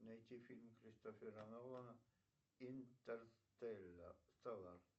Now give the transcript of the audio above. найти фильм кристофера нолана интерстеллар